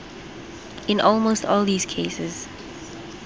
in almost all these cases